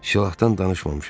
Silahdan danışmamışam.